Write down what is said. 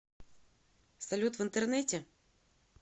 салют в интернете